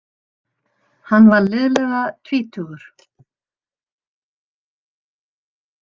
Hann var liðlega tvítugur.